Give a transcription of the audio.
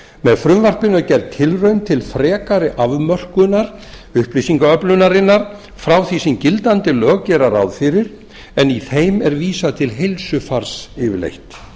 með frumvarpinu er gerð tilraun til frekari afmörkunar upplýsingaöflunarinnar frá því sem gildandi lög gera ráð fyrir en í þeim er vísað til heilsufars yfirleitt